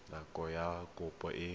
nako ya fa kopo e